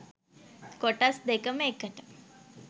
කොටස් දෙකම එකට.